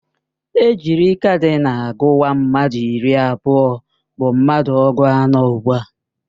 Ejiri kadinal guwa, mmadụ iri abụọ bụ mmadụ ọgụ anọ ugbua